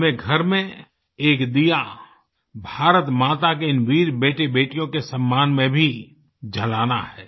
हमें घर में एक दीया भारत माता के इन वीर बेटेबेटियों के सम्मान में भी जलाना है